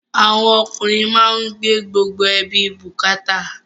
Àwọn ọkùnrin má ń gbé gbogbo ẹbí bukata